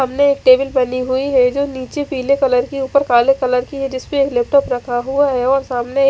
सामने एक टेबल फैली हुई है जो नीचे पीले कलर की ऊपर काले कलर की है और जिसमे लैपटॉप रखा हुआ है और सामने --